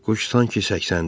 Quş sanki səksəndi.